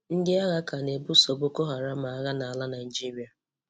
Ndị àgha ka na-èbuso Bókó Hárám àgha n'ala Nàìjíríà.